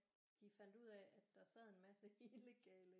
De fandt ud af at der sad en masse illegale